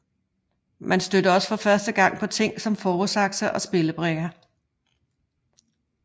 Man stødte også for første gang på ting som fåresakse og spillebrikker